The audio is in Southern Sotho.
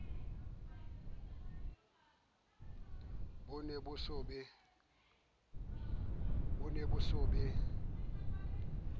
bo ne bo se bo